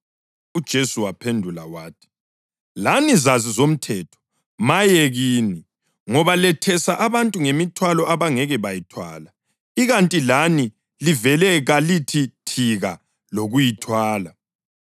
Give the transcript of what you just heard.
UJesu waphendula wathi, “Lani zazi zomthetho, maye kini, ngoba lethesa abantu ngemithwalo abangeke bayithwale, ikanti lani livele kalithi thika lokuyithwala.